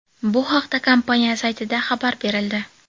Bu haqda kompaniya saytida xabar berildi.